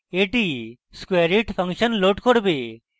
এটি squareit function load করবে